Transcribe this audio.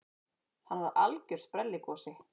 Hann var algjör sprelligosi.